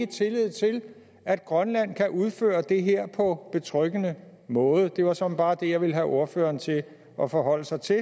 tillid til at grønland kan udføre det her på betryggende måde det var såmænd bare det jeg ville have ordføreren til at forholde sig til